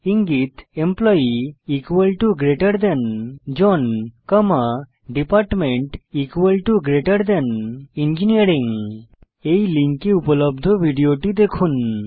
ইঙ্গিত এমপ্লয়ী জন কমা ডিপার্টমেন্ট ইঞ্জিনিয়ারিং এই লিঙ্কে উপলব্ধ ভিডিওটি দেখুন